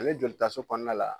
Ale joli taso kɔnɔna la